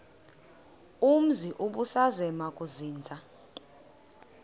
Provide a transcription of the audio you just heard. umzi ubusazema ukuzinza